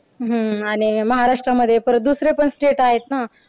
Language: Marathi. हम्म आणि महाराष्ट्रमध्ये परत दुसरे पण state आहेत ना.